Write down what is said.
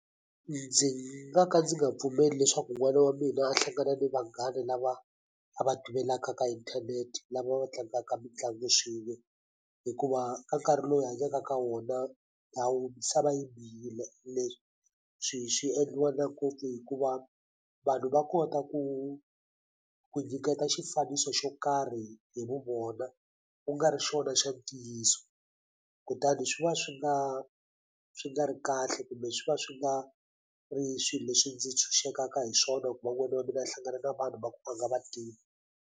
Ndzi nga ka ndzi nga pfumeli leswaku n'wana wa mina a hlangana ni vanghana lava a va tivelaka ka inthanete lava va tlangaka mitlangu swin'we hikuva ka nkarhi lowu hi hanyaka ka wona a misava yi bihile swi swi endliwa na ngopfu hikuva vanhu va kota ku ku nyiketa xifaniso xo karhi hi vu vona kungari xona xa ntiyiso kutani swi va swi nga swi nga ri kahle kumbe swi va swi nga ri swilo leswi ndzi tshunxekaka hi swona ku va n'wana wa mina a hlangana na vanhu va ku a nga vativi.